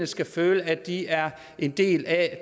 skal føle at de er en del af